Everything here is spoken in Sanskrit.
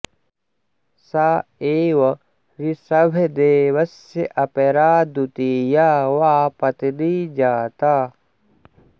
सा एव ऋषभदेवस्य अपरा द्वितीया वा पत्नी जाता